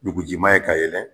Nugujiman ye ka yɛlɛn